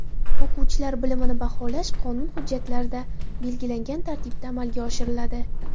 O‘quvchilar bilimini baholash qonun hujjatlarida belgilangan tartibda amalga oshiriladi.